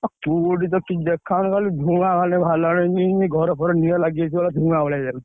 କୁହୁଡି ତ, କିଛି ଦେଖା ଯାଉନି ଖାଲି ଧୂଆଁ ଯେମିତି ଘର ଫର ନିଆଁ ଲାଗିଯାଇଛି ପୁରା ଧୂଆଁ ଭଳିଆ ଯାଉଛି।